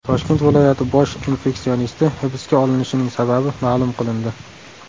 Toshkent viloyati bosh infeksionisti hibsga olinishining sababi ma’lum qilindi.